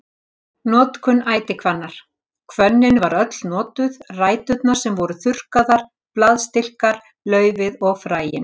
Notkun ætihvannar Hvönnin var öll notuð, ræturnar sem voru þurrkaðar, blaðstilkar, laufið og fræin.